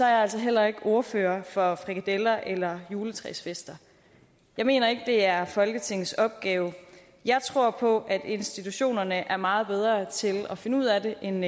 jeg altså heller ikke ordfører for frikadeller eller juletræsfester jeg mener ikke det er folketingets opgave jeg tror på at institutionerne er meget bedre til at finde ud af det end